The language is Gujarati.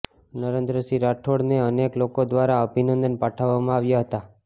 નરેન્દ્રસિંહ રાઠોડ ને અનેક લોકો દ્વારા અભિનંદન પાઠવવામાં આવ્યા હતા